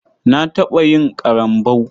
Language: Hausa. Na taɓa yin ƙarambau.